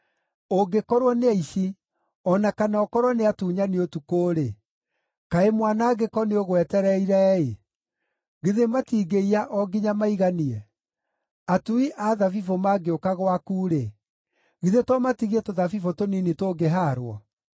“Ũngĩkorwo nĩ aici, o na kana ũkorwo nĩ atunyani ũtukũ-rĩ, kaĩ mwanangĩko nĩũgwetereire-ĩ! Githĩ matingĩiya o nginya maiganie? Atui a thabibũ mangĩũka gwaku-rĩ, githĩ to matigie tũthabibũ tũnini tũngĩhaarwo?